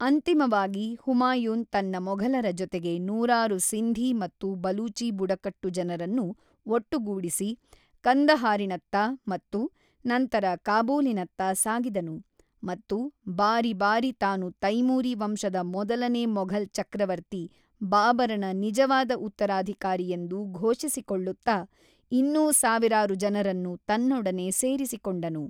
ಅಂತಿಮವಾಗಿ ಹುಮಾಯೂನ್ ತನ್ನ ಮೊಘಲರ ಜೊತೆಗೆ ನೂರಾರು ಸಿಂಧಿ ಮತ್ತು ಬಲೂಚಿ ಬುಡಕಟ್ಟು ಜನರನ್ನು ಒಟ್ಟುಗೂಡಿಸಿ ಕಂದಹಾರಿನತ್ತ ಮತ್ತು ನಂತರ ಕಾಬೂಲಿನತ್ತ ಸಾಗಿದನು, ಮತ್ತು ಬಾರಿ ಬಾರಿ ತಾನು ತೈಮೂರಿ ವಂಶದ ಮೊದಲನೇ ಮೊಘಲ್ ಚಕ್ರವರ್ತಿ ಬಾಬರನ ನಿಜವಾದ ಉತ್ತರಾಧಿಕಾರಿಯೆಂದು ಘೋಷಿಸಿಕೊಳ್ಳುತ್ತ ಇನ್ನೂ ಸಾವಿರಾರು ಜನರನ್ನು ತನ್ನೊಡನೆ ಸೇರಿಸಿಕೊಂಡನು.